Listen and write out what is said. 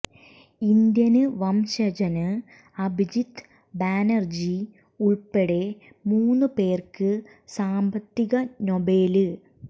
Indian വംശജന് അഭിജിത്ത് ബാനര്ജി ഉള്പ്പടെ മൂന്ന് പേര്ക്ക് സാമ്പത്തിക നൊബേല്